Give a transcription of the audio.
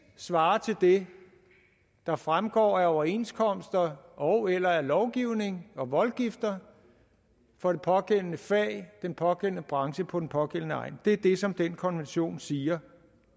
svarer til det der fremgår af overenskomster ogeller af lovgivning og voldgifter for det pågældende fag i den pågældende branche på den pågældende egn det er det som den konvention siger